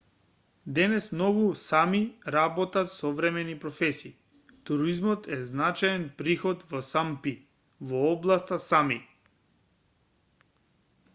денес многу сами работат современи професии туризмот е значаен приход во сапми во областа сами